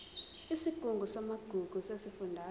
isigungu samagugu sesifundazwe